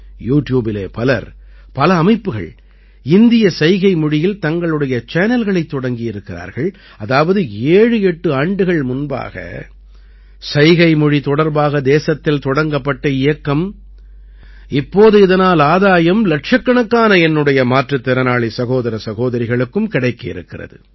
you ட்யூபிலே பலர் பல அமைப்புகள் இந்திய சைகைமொழியில் தங்களுடைய சேனல்களைத் தொடங்கி இருக்கிறார்கள் அதாவது 78 ஆண்டுகள் முன்பாக சைகைமொழி தொடர்பாக தேசத்தில் தொடங்கப்பட்ட இயக்கம் இப்போது இதனால் ஆதாயம் இலட்சக்கணக்கான என்னுடைய மாற்றுத் திறனாளி சகோதர சகோதரிகளுக்கும் கிடைக்கவிருக்கிறது